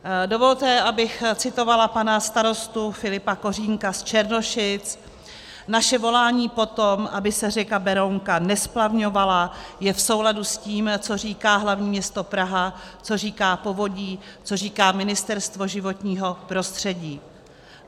Dovolte, abych citovala pana starostu Filipa Kořínka z Černošic: Naše volání po tom, aby se řeka Berounka nesplavňovala, je v souladu s tím, co říká hlavní město Praha, co říká povodí, co říká Ministerstvo životního prostředí.